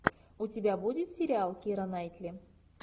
у тебя будет сериал кира найтли